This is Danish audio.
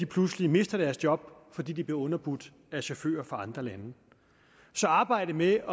pludselig mister deres job fordi de bliver underbudt af chauffører fra andre lande så arbejdet med